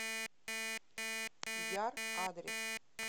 яр адрес